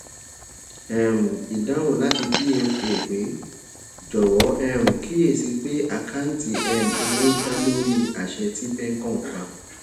um idahun lati pfa pe jowo um kiyesi pe akanti um owo da lori ase ti pncom pa